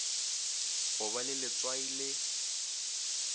go ba le letswai le